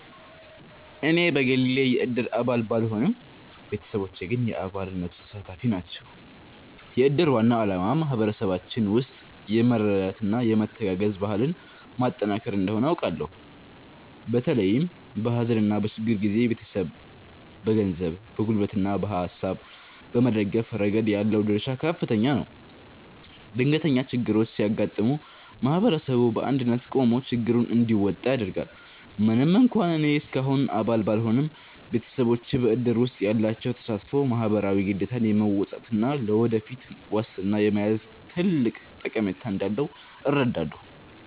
እኔ በግሌ የእድር አባል ባልሆንም፣ ቤተሰቦቼ ግን የአባልነቱ ተሳታፊ ናቸው። የእድር ዋና ዓላማ በማኅበረሰባችን ውስጥ የመረዳጃና የመተጋገዝ ባህልን ማጠናከር እንደሆነ አውቃለሁ። በተለይም በሐዘንና በችግር ጊዜ ቤተሰብን በገንዘብ፣ በጉልበትና በሐሳብ በመደገፍ ረገድ ያለው ድርሻ ከፍተኛ ነው። ድንገተኛ ችግሮች ሲያጋጥሙ ማኅበረሰቡ በአንድነት ቆሞ ችግሩን እንዲወጣ ያደርጋል። ምንም እንኳን እኔ እስካሁን አባል ባልሆንም፣ ቤተሰቦቼ በእድር ውስጥ ያላቸው ተሳትፎ ማኅበራዊ ግዴታን የመወጣትና ለወደፊት ዋስትና የመያዝ ትልቅ ጠቀሜታ እንዳለው እረዳለሁ።